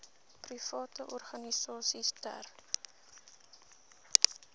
private organisasies ter